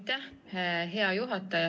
Aitäh, hea juhataja!